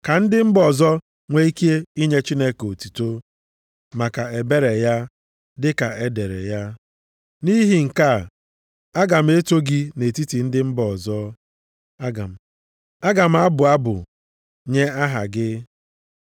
Ka ndị mba ọzọ nwe ike inye Chineke otuto maka ebere ya, dịka e dere ya, “Nʼihi nke a, aga m eto gị nʼetiti ndị mba ọzọ, aga m abụ abụ nye aha gị.” + 15:9 \+xt 2Sa 22:50; Abụ 18:49\+xt*